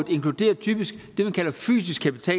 inkluderer typisk det man kalder fysisk kapital